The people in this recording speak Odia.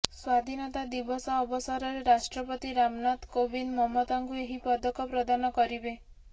ସ୍ୱାଧୀନତା ଦିବସ ଅବସରରେ ରାଷ୍ଟ୍ରପତି ରାମନାଥ କୋବିନ୍ଦ ମମତାଙ୍କୁ ଏହି ପଦକ ପ୍ରଦାନ କରିବେ